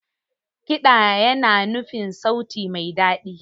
Kiɗa yana nufin sauti mai daɗi.